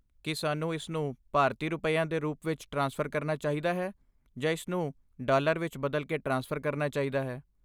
ਕੀ ਸਾਨੂੰ ਇਸਨੂੰ ਭਾਰਤੀ ਰੁਪਿਆਂ ਦੇ ਰੂਪ ਵਿੱਚ ਟ੍ਰਾਂਸਫਰ ਕਰਨਾ ਚਾਹੀਦਾ ਹੈ ਜਾਂ ਇਸਨੂੰ ਡਾਲਰ ਵਿੱਚ ਬਦਲ ਕੇ ਟ੍ਰਾਂਸਫਰ ਕਰਨਾ ਚਾਹੀਦਾ ਹੈ?